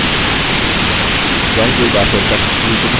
drawing toolbar से text tool चुनें